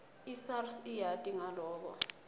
isars iyati ngaloko